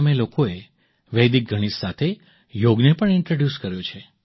અમે લોકોએ વૈદિક ગણિત સાથે યોગને પણ ઇન્ટ્રૉડ્યુસ કર્યો છે